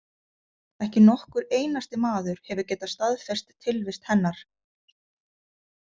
Ekki nokkur einasti maður hefur getað staðfest tilvist hennar.